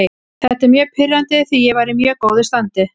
Þetta er mjög pirrandi því ég var í mjög góðu standi.